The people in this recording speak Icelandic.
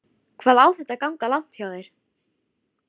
Hvað á þetta að ganga langt hjá þér?